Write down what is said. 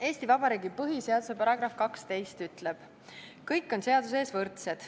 Eesti Vabariigi põhiseaduse § 12 ütleb: "Kõik on seaduse ees võrdsed.